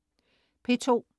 P2: